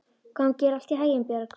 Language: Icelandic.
Gangi þér allt í haginn, Björg.